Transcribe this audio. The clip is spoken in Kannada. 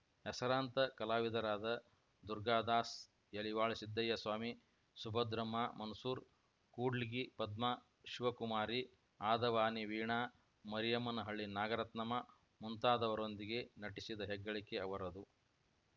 ಹೆಸರಾಂತ ಕಲಾವಿದರಾದ ದುರ್ಗಾದಾಸ್‌ ಯಲಿವಾಳ ಸಿದ್ದಯ್ಯಸ್ವಾಮಿ ಸುಭದ್ರಮ್ಮ ಮನ್ಸೂರು ಕೂಡ್ಲಿಗಿ ಪದ್ಮಾ ಶಿವಕುಮಾರಿ ಆದವಾನಿ ವೀಣಾ ಮರಿಯಮ್ಮನಹಳ್ಳಿ ನಾಗರತ್ನಮ್ಮ ಮುಂತಾದವರೊಂದಿಗೆ ನಟಿಸಿದ ಹೆಗ್ಗಳಿಕೆ ಅವರದು